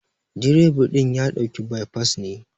direba din ya dauka by pass ne.